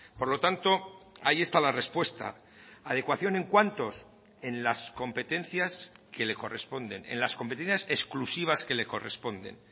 por lo tanto ahí está la respuesta adecuación en cuántos en las competencias que le corresponden en las competencias exclusivas que le corresponden